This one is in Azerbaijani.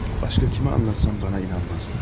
Başqa kimə anlatsam mənə inanmazlar.